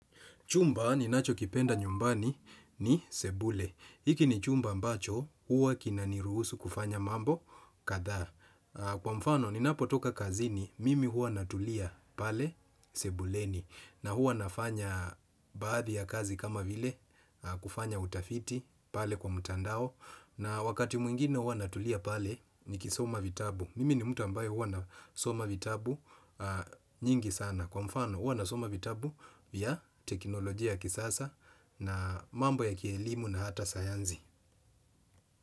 Chumba ni nacho kipenda nyumbani ni sebule. Iki ni chumba ambacho, huwa kinaniruhusu kufanya mambo kadhaa. Kwa mfano, ni napotoka kazini, mimi huwa natulia pale sebuleni. Na huwa nafanya baadhi ya kazi kama vile, kufanya utafiti pale kwa mtandao. Na wakati mwingine huwa natulia pale, nikisoma vitabu. Mimi ni mtu ambayo huwa nasoma vitabu nyingi sana. Kwa mfano, uwa nasoma vitabu vya teknolojia ya kisasa na mambo ya kielimu na hata sayanzi.